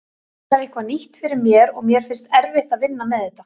Þetta er eitthvað nýtt fyrir mér og mér finnst erfitt að vinna með þetta.